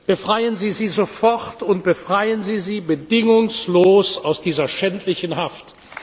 Befreien Sie sie sofort und befreien Sie sie bedingungslos aus dieser schändlichen Haft!